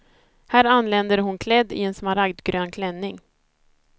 Här anländer hon klädd i en smaragdgrön klänning.